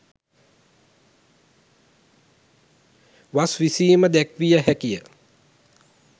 වස් විසීම දැක්විය හැකිය.